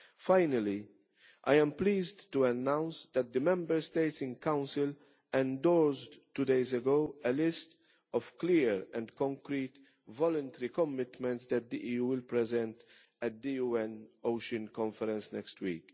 Finally, I am pleased to announce that the Member States and Council two days ago endorsed a list of clear and concrete voluntary commitments that the EU will present at the UN Ocean Conference next week.